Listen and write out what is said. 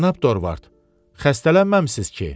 Cənab Dorvart, xəstələnməmisiniz ki?